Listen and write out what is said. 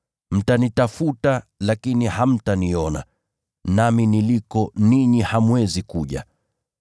Mtanitafuta lakini hamtaniona, nami niliko ninyi hamwezi kuja.”